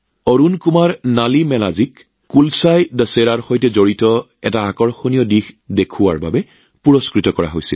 অৰুণ কুমাৰ নলিমেলাজীক কুলাছাই দশেৰাৰ সৈতে জড়িত এক আকৰ্ষণীয় দিশ প্ৰদৰ্শনৰ বাবে বঁটা প্ৰদান কৰা হয়